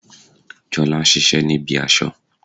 Jolá n sisé ní ibi aso